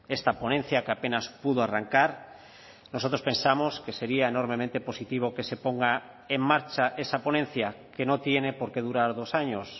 esta ponencia que apenas pudo arrancar nosotros pensamos que sería enormemente positivo que se ponga en marcha esa ponencia que no tiene porqué durar dos años